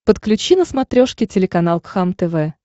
подключи на смотрешке телеканал кхлм тв